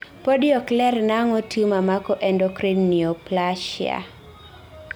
podi okler nang'o tumor mako endocrine neoplasia